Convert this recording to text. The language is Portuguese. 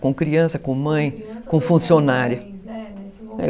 Com criança, com mãe, com funcionária.